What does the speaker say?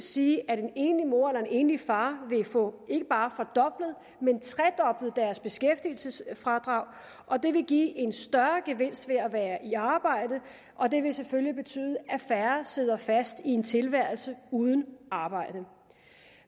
sige at en enlig mor eller en enlig far vil få ikke bare fordoblet men tredoblet deres beskæftigelsesfradrag og det vil give en større gevinst ved at være i arbejde og det vil selvfølgelig betyde at færre sidder fast i en tilværelse uden arbejde